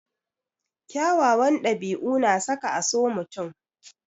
Kyawawan ɗabi'u na saka a so mutum.